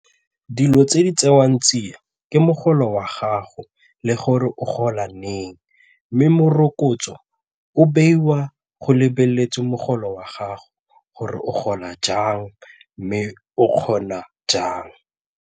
Dilo tse di tsewang tsia ke mogolo wa gago le gore o gola neng mme morokotso o beiwa go lebeletse mogolo wa gago gore o gola jang mme o kgona jang.